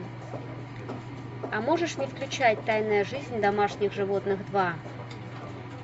а можешь не включать тайная жизнь домашних животных два